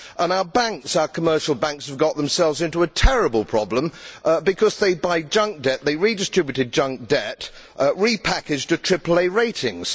Our commercial banks have got themselves into a terrible problem because they buy junk debt. They redistributed junk debt repackaged at triple A ratings.